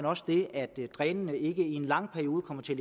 også det at drænene ikke i en lang periode kommer til